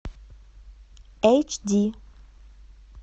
эйч ди